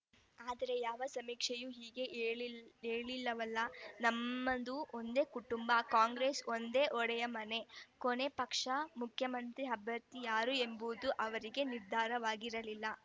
ಆದರೆ ಯಾವ ಸಮೀಕ್ಷೆಯೂ ಹೀಗೆ ಹೇಳಿಲ್ ಹೇಳಿಲ್ಲವಲ್ಲಾ ನಮ್ಮದು ಒಂದೇ ಕುಟುಂಬ ಕಾಂಗ್ರೆಸ್ಸು ಒಂದು ಒಡೆದ ಮನೆ ಕೊನೆ ಪಕ್ಷ ಮುಖ್ಯಮಂತ್ರಿ ಅಭ್ಯರ್ಥಿ ಯಾರು ಎಂಬುದೂ ಅವರಲ್ಲಿ ನಿರ್ಧಾರವಾಗಿಲ್ಲ